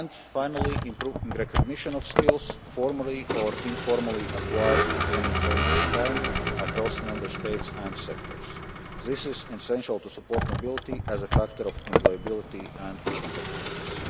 Finally, improving recognition of skills formally or informally acquired at any point in time across Member States and sectors, which is essential to support mobility as a factor of employability and competitiveness.